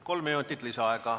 Kolm minutit lisaaega.